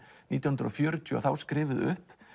nítján hundruð og fjörutíu og þá skrifuð upp